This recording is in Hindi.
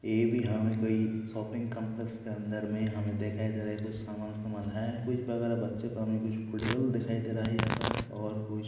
ये भी हमे कोई शॉपिंग काम्प्लेक्स के अंदर में हमे देखाई दे रहा है कुछ समान फामान है कुछ बगल में बच्चे फुटबॉल दिखाई दे रहा यहाँ पर और कुछ--।